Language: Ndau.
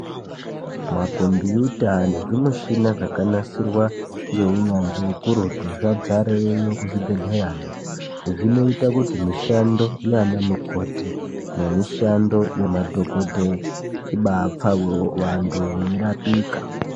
Makombiyuta nezvimuchina zvakanasirwa ngeunyanzvi ukurutu zvadzareyo kuzvibhedhleyayo. Zvinoita kuti mishando yaana mukoti nemishando yemadhokodheya ibaa pfawewo, vantu veirapika.